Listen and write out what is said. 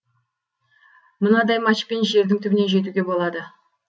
мынадай матчпен жердің түбіне жетуге болады